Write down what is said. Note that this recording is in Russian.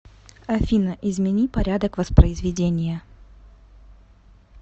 афина измени порядок воспризведения